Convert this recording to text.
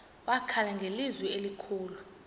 wakhala ngelizwi elikhulu